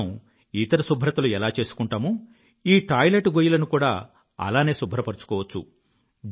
మనం ఇతర శుభ్రతలు ఎలా చేసుకుంటామో ఈ టాయిలెట్ గొయ్యిలను కూడా అలానే శుభ్రపరుచుకోవచ్చు